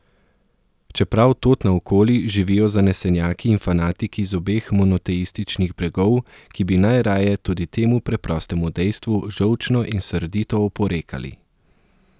Čeprav tod naokoli živijo zanesenjaki in fanatiki z obeh monoteističnih bregov, ki bi najraje tudi temu preprostemu dejstvu žolčno in srdito oporekali.